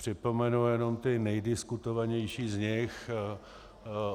Připomenu jenom ty nejdiskutovanější z nich.